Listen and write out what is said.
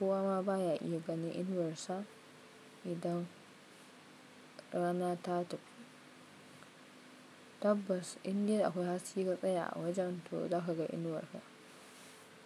kowa ma baya iya ganin inuwarsa idan rana ta tafi. Tabbas, indai akwai haske ka tsaya a wajen to zakaga inuwarka.